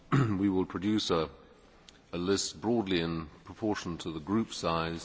we will produce a list broadly in proportion to the group size.